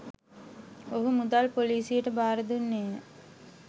ඔහු මුදල් පොලිසියට බාර දුන්නේය.